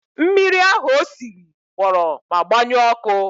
Mmiri ahụ o siri gbọrọ ma gbọnyuo ọkụ.